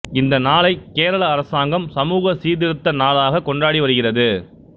இந்த நாளைக் கேரள அரசாங்கம் சமுக சீர்திருத்த நாளாக கொண்டாடி வருகிறது